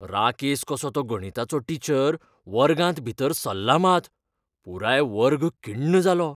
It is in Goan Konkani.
राकेस कसो तो गणिताचो टीचर वर्गांत भीतर सरला मात, पुराय वर्ग किण्ण जालो.